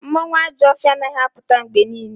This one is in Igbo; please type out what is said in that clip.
Mmanwu Ajo ofia anaghi aputa mgbe niile